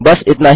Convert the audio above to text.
बस इतना ही